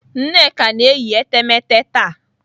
Nneka na-eyi etemeete taa.